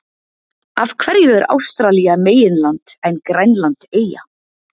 Af hverju er Ástralía meginland en Grænland eyja?